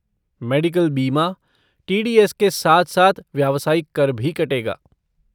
Medical बीमा, T D S के साथ साथ व्यवसायिक कर भी कटेगा।